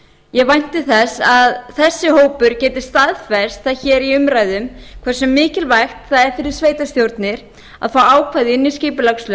ég vænti þess að þessi hópur geti staðfest það hér í umræðum hversu mikilvægt það er fyrir sveitarstjórnir að fá ákvæði inn í